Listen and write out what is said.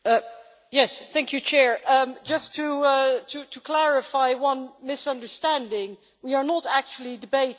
Just to clarify one misunderstanding, we are not actually debating the US budget here.